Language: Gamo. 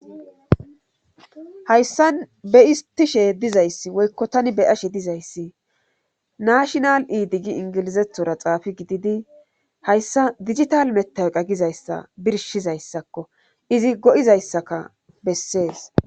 hayssa be istishe dizayssi woykko tani be ashe dizayssi naashinal iidi gi ingilizethora xaafi gididi hayssa digital meta qagizayssa birshizayssakko izi go7izayssaka bessees